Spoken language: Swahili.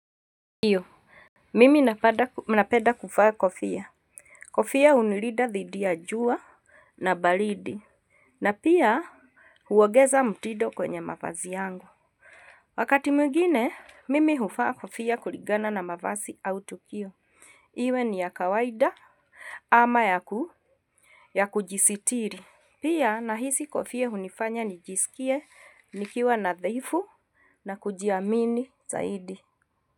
Ndio mimi napeda kuvaa kofia kofia hunilida dhidi ya jua na baridi na pia huongeza mtido kwenye mavazi yangu wakati migine mimi huvaa kofia kuligana na mavazi au tukio iwe ni ya kawaida ama ya ku ya kujisitiri pia nahisi kofia hunifanya nijisikie nikiwa nadhifu na kujiamini zaidi.